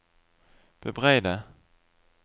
bebreide